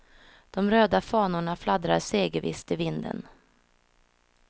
De röda fanorna fladdrar segervisst i vinden.